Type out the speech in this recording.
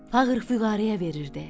Fağır füqəraya verirdi.